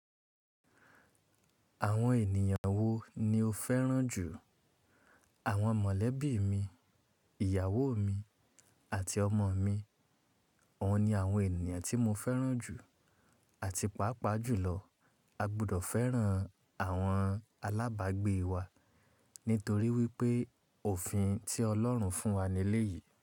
Àwọn ènìyàn wo ni o féràn jù? Àwọn mọ̀lẹ́bí mi, ìyàwó mi àti ọmọ mi. Wọ́n ni àwọn ènìyàn tí mo féràn jù àti pàápàá jùlọ. A gbọdọ̀ féràn àwọn alábàágbé wa nítorí wípé òfin tí Ọlọ́run fún wa nílé yìí.